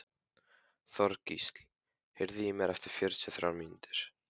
Þorgísl, heyrðu í mér eftir fjörutíu og þrjár mínútur.